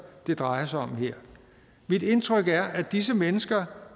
det drejer sig om her mit indtryk er at disse mennesker